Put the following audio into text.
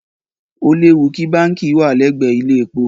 Ó léwu kí báǹkì wà lẹ́gbẹ̀ẹ́ ilé-epo.